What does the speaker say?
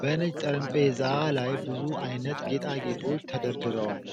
በነጭ ጠረጴዛ ላይ ብዙ ዓይነት ጌጣጌጦች ተደርድረዋል።